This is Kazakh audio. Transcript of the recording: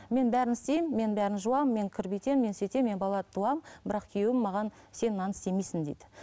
мен бәрін істеймін мен бәрін жуамын мен кір бүйтемін мен сөйтемін мен бала туамын бірақ күйеуім маған сен мынаны істемейсің дейді